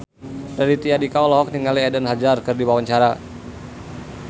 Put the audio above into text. Raditya Dika olohok ningali Eden Hazard keur diwawancara